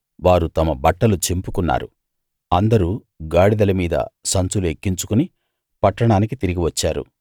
వారు తమ బట్టలు చింపుకున్నారు అందరూ గాడిదల మీద సంచులు ఎక్కించుకుని పట్టణానికి తిరిగి వచ్చారు